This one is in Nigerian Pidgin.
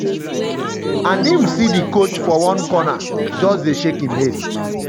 my papa tell me say im see one moment during a game wia i suppose pass di ball to somebody and i shot and miss.